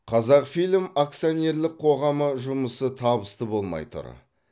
қазақфильм акционерлік қоғамы жұмысы табысты болмай тұр